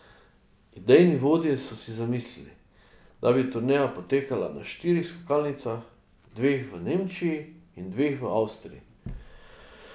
Idejni vodje so si zamislili, da bi turneja potekala na štirih skakalnicah, dveh v Nemčiji in dveh v Avstriji.